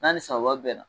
N'a ni sanba bɛnna